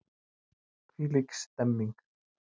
Þvílík stemmning!